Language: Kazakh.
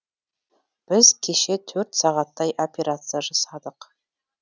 біз кеше төрт сағаттай операция жасадық